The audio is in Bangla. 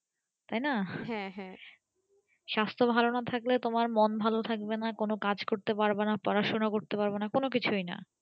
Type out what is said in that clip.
তাইনা সাস্থ ভালো না থাকলে তোমার মন ভালো থাকবেনা আর কোনো কাজ করতে পারবেনা পড়াশোনা করতে পারবেনা কোনো কিছুই না